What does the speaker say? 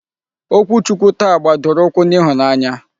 Okwu Chukwu taa gbadoro ụkwụ n'ịhụnanya.